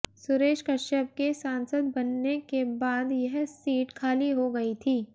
सुरेश कश्यप के सांसद बनने के बाद यह सीट खाली हो गई थी